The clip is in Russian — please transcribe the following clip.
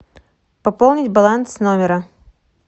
пополнить баланс номера